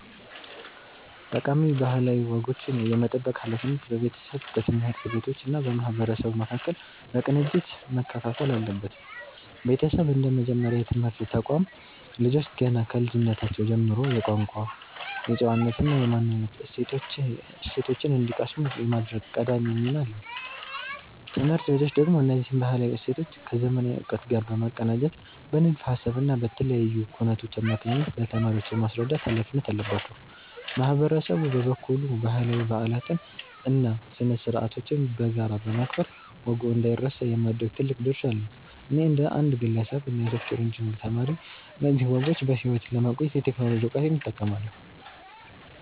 ጠቃሚ ባህላዊ ወጎችን የመጠበቅ ሃላፊነት በቤተሰብ፣ በትምህርት ቤቶች እና በማህበረሰቡ መካከል በቅንጅት መከፋፈል አለበት። ቤተሰብ እንደ መጀመሪያ የትምህርት ተቋም፣ ልጆች ገና ከልጅነታቸው ጀምሮ የቋንቋ፣ የጨዋነት እና የማንነት እሴቶችን እንዲቀስሙ የማድረግ ቀዳሚ ሚና አለው። ትምህርት ቤቶች ደግሞ እነዚህን ባህላዊ እሴቶች ከዘመናዊ እውቀት ጋር በማቀናጀት በንድፈ ሃሳብ እና በተለያዩ ኩነቶች አማካኝነት ለተማሪዎች የማስረዳት ሃላፊነት አለባቸው። ማህበረሰቡ በበኩሉ ባህላዊ በዓላትን እና ስነ-ስርዓቶችን በጋራ በማክበር ወጉ እንዳይረሳ የማድረግ ትልቅ ድርሻ አለው። እኔ እንደ አንድ ግለሰብ እና የሶፍትዌር ኢንጂነሪንግ ተማሪ፣ እነዚህን ወጎች በሕይወት ለማቆየት የቴክኖሎጂ እውቀቴን እጠቀማለሁ።